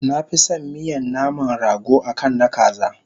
Nafison miyan naman rago akan na kaza